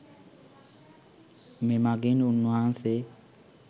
මෙමඟින් උන් වහන්සේ